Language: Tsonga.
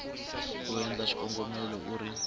u endla xikombelo u ri